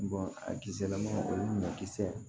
a kisɛ lama olu ɲɔ kisɛ